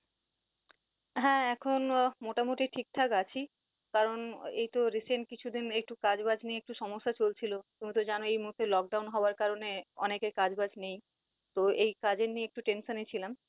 হা এখন মোটামুটি ঠিক ঠাক আছি কারন এইতো recent কিছুদিন একটু কাজ বাজ নিয়ে একটু সমস্যা চলছিল, তুমি তো জানোই এই মুহূর্তে Lockdown হওয়ার কারে অনেকের কাজ বাজ নেই। তো এই কাজের নিয়ে একটু tension এ ছিলাম